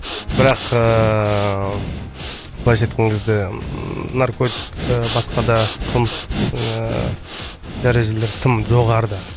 бірақ ыыы былайша айтқан кезде наркотик ы басқа да қылмыстық ыыы дәрежелер тым жоғарыда